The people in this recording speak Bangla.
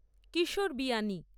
কিশোর বিয়ানী